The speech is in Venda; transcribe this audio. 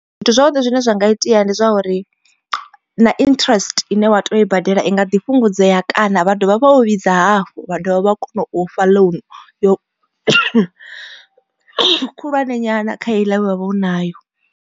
Zwithu zwavhuḓi zwine zwa nga itea ndi zwa uri na interest ine wa te yo i badela i nga ḓi fhungudzea kana vha dovha vha u vhidza hafhu vha dovha vha kona u fha loan khulwane nyana kha heiḽa ye wavha u nayo.